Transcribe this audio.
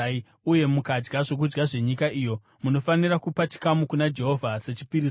uye mukadya zvokudya zvenyika iyo, munofanira kupa chikamu kuna Jehovha sechipiriso.